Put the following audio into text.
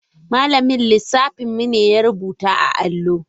Malamin lissafin mu ne ya rubuta a allo.